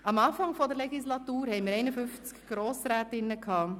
Am Anfang der Legislatur hatten wir 51 Grossrätinnen.